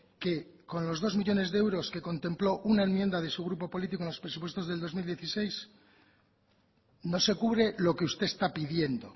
que con los dos millónes de euros que contempló una enmienda de su grupo político en los presupuestos del dos mil dieciséis no se cubre lo que usted está pidiendo